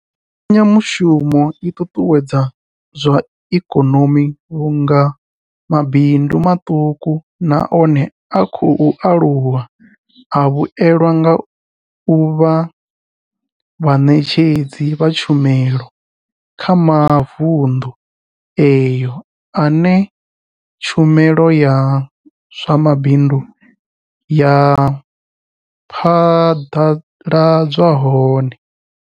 Mbekanyamushumo i ṱuṱuwedza zwa ikonomi vhunga mabindu maṱuku na one a khou aluwa a vhuelwa nga u vha vhaṋetshedzi vha tshumelo kha mavundu eneyo ane tshumelo ya zwa mabindu ya phaḓaladzwa hone.